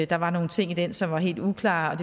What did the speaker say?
der var nogle ting i den som var helt uklare